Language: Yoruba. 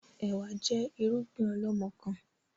Ẹ̀wá jẹ́ irúgbìn ọlọmọkan